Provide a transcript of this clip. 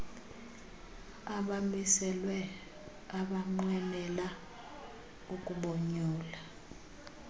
abamiselweyo abanqwenela ukubonyula